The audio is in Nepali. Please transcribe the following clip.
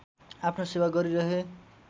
आफ्नो सेवा गरिरहे